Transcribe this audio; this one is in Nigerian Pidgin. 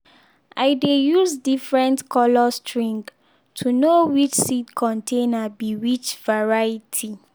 i dey use different colour string to know which seed container be which variety.